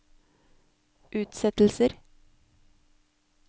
utsettelser